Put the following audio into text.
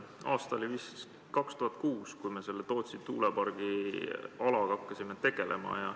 Aasta oli vist 2006, kui me selle Tootsi tuulepargi alaga hakkasime tegelema.